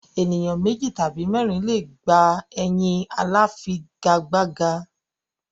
Ènìyàn méjì tàbí mẹ́ẹ́rin le è gbà ẹyin aláfigigbá.